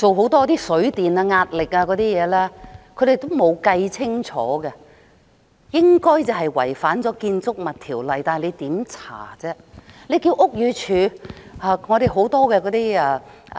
又或即使進行了水電壓力等測試，但仍未計算清楚，應該違反了《建築物條例》，但當局如何調查？